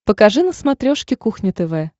покажи на смотрешке кухня тв